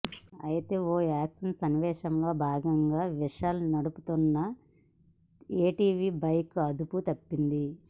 అయితే ఓ యాక్షన్ సన్నివేశంలో భాగంగా విశాల్ నడుపుతున్న ఏటీవీ బైక్ అదుపు తప్పింది